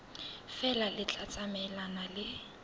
feela le tla tsamaelana le